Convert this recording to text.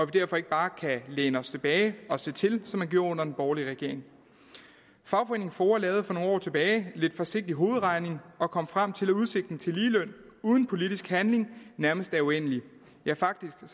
derfor ikke bare kan læne os tilbage og se til som man gjorde under den borgerlige regering fagforeningen foa lavede for nogle år tilbage lidt forsigtig hovedregning og kom frem til at udsigten til ligeløn uden politisk handling nærmest er uendelig ja faktisk er